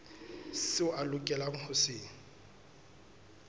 seo a lokelang ho se